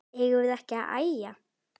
Eigum við ekki að æja?